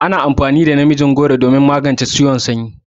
Ana amfani da namijin goro don magance ciwon sanyi.